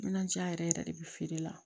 Minaja yɛrɛ yɛrɛ de bɛ feere la